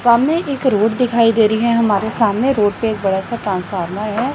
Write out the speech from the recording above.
सामने एक रोड दिखाई दे रही है हमारे सामने रोड पे एक बड़ा सा ट्रांसफार्मर है।